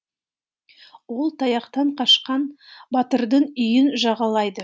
ол таяқтан қашқан батырдың үйін жағалайды